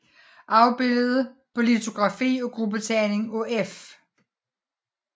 Afbildet på litografi af gruppetegning af F